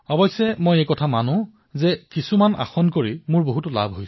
হয় মই এয়া মানি লৈছো যে কিছুমান আসনৰ পৰা মোৰ বহু লাভ হৈছে